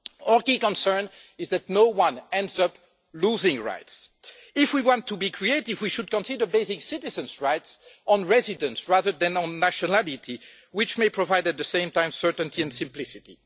Our key concern is that no one ends up losing rights. If we want to be creative, we should consider basing citizens' rights on residence rather than on nationality, which may provide at the same time certainty and simplicity.